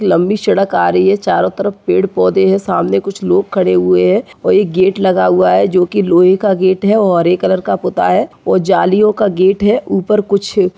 लंबी सड़क आ रही है चारों तरफ पेड़ पौधे है सामने कुछ लोग खड़े हुए हैं वही गेट लगा हुआ है जो की लोहे का गेट है और हरे कलर का पता है और जालियों का गेट है ऊपर कुछ--